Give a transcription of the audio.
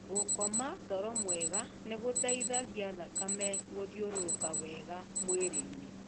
Gũkoma toro mwega nĩ gũteithagia thakame Gũthiũrũrũka wega mwĩrĩ -inĩ .